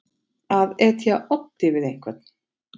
Að etja oddi við einhvern